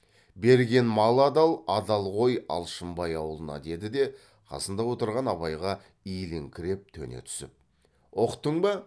берген мал адал адал ғой алшынбай аулына деді де қасында отырған абайға иіліңкіреп төне түсіп ұқтың ба